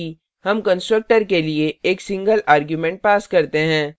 मानिए कि हम constructor के लिए एक single आर्ग्युमेंट्स pass करते हैं